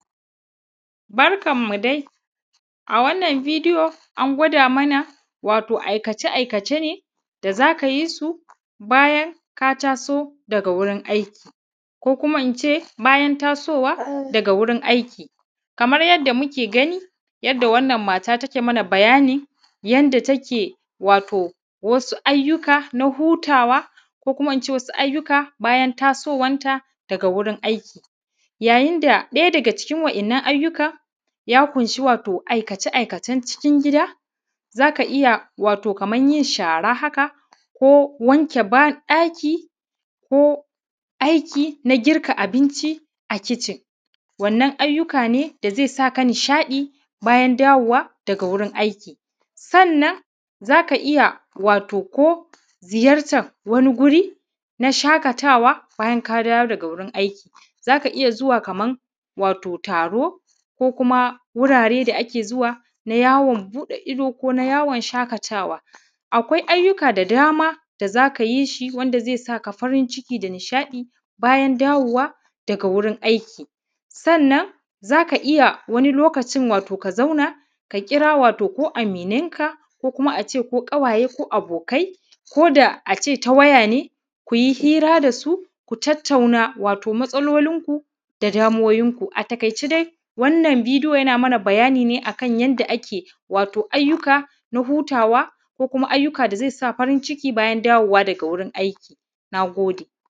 Barkan mu dai a wannan bideyon an gwada mana wato aikace aikace ne dai da zaka yisu bayan ka taso daga wurin aiki, ko ince bayan tasowa daga wurin aiki. kamar yadda wannan mata take mana bayani yanda take wato wasu ayyuka na hutawa ko ince wasu ayyuka bayan taso wanta daga wurin aiki. Ya yinda ɗaya daga cikin wa’yan’nan ya kunshi wato aikace aikacen cikin gida, zaka iyya wato Kaman yin shara haka wanke ɗaki, ko aiki na girka abinci a kicin wannan ayyuka ne da zai saka nishaɗi bayan dawowa daga wurin aiki. Sannan zaka iyya wato ko ziyartar wani guri na shakatawa bayan ka dawo daga wurin aiki zaka iyya zuwa Kaman wato taro ko kuma wurare da ake zuwa na yawo buɗe ido ko na yawon shakatawa akwai ayyuka da dama da zaka yi shi wanda zai saka farin ciki da hishaɗi bayan dawowa daga wurin aiki. Sannan wani lokacin zaka iyya wato ka zauna ka kira aminan ka ko kuma ince ko abokai ko ƙawaye, koda a ce ta waya ne kunyi hira da su ku tattauna wato matsalolin ku da damuwoyin ku. A takai ce wannan bideyo yana mana bayani ne akan yanda ake ayyuka na hutawa ko kuma ayyuka da zai sa farin ciki bayan dawowa daga wurin aiki nagode.